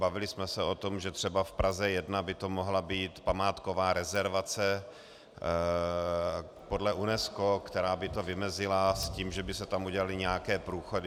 Bavili jsme se o tom, že třeba v Praze 1 by to mohla být památková rezervace podle UNESCO, která by to vymezila, s tím, že by se tam udělaly nějaké průchody.